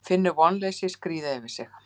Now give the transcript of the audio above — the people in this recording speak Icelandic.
Finnur vonleysið skríða yfir sig.